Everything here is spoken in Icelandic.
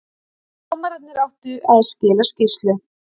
Dómararnir áttu að skila skýrslu